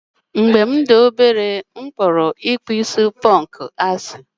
Mgbe m dị obere, m kpọrọ ponku akpụkpọ anụ asị.